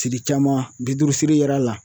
Siri caman bi duuru siri yir'a la